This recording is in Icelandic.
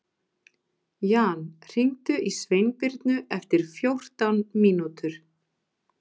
Jan, hringdu í Sveinbirnu eftir fjórtán mínútur.